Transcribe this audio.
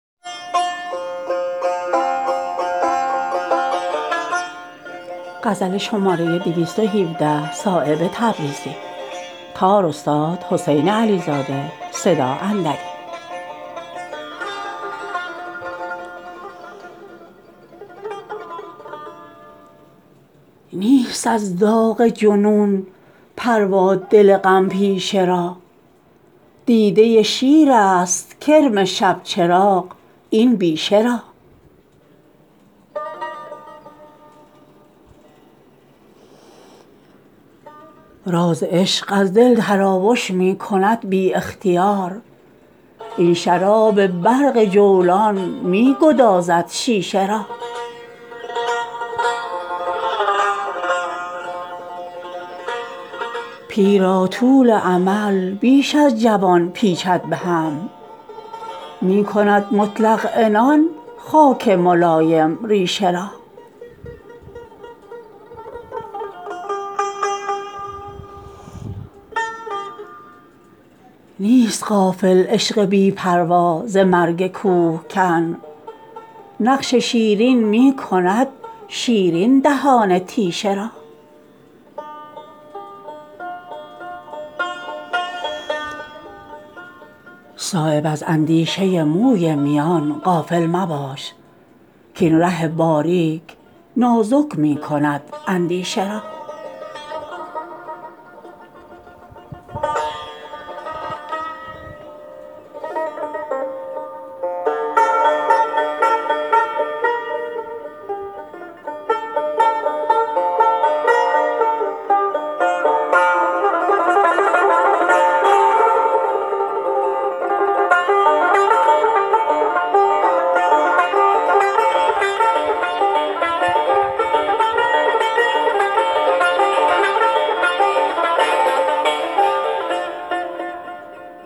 نیست از داغ جنون پروا دل غم پیشه را دیده شیرست کرم شبچراغ این بیشه را راز عشق از دل تراوش می کند بی اختیار این شراب برق جولان می گدازد شیشه را پیر را طول امل بیش از جوان پیچید به هم می کند مطلق عنان خاک ملایم ریشه را نیست غافل عشق بی پروا ز مرگ کوهکن نقش شیرین می کند شیرین دهان تیشه را صایب از اندیشه موی میان غافل مباش کاین ره باریک نازک می کند اندیشه را